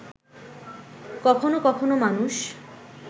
কখনো কখনো মানুষ